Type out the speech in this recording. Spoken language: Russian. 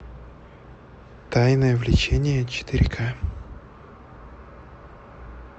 тайное влечение четыре ка